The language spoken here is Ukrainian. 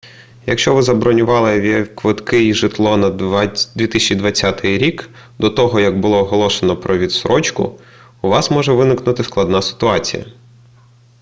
якщо ви забронювали авіаквитки й житло на 2020 рік до того як було оголошено про відстрочку у вас може виникнути складна ситуація